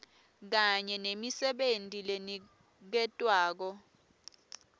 kanye nemisebenti leniketwako